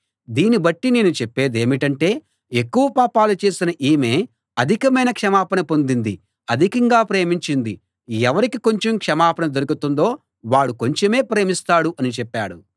దీన్ని బట్టి నేను చెప్పేదేమిటంటే ఎక్కువ పాపాలు చేసిన ఈమె అధికమైన క్షమాపణ పొందింది అధికంగా ప్రేమించింది ఎవరికి కొంచెం క్షమాపణ దొరుకుతుందో వాడు కొంచెమే ప్రేమిస్తాడు అని చెప్పాడు